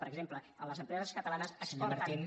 per exemple les empreses catalanes exporten